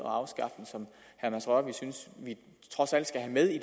at mads rørvig synes vi trods alt skal have med i